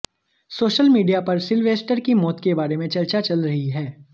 social media पर Sylvester की मौत के बारे में चर्चा चल रही है